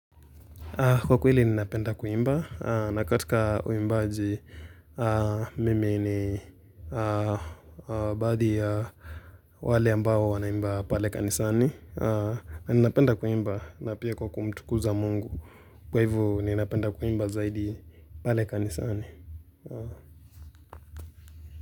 Kwa kweli, ninapenda kuimba. Na katika uimbaji, mimi ni baadhi ya wale ambao wanaimba pale kanisani. Ni napenda kuimba na pia kwa kumtukuza mungu. Kwa hivo, ni napenda kuimba zaidi pale kanisani.